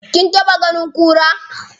Kin taɓa ganin kura?